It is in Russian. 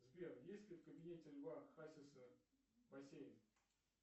сбер есть ли в кабинете льва хасиса бассейн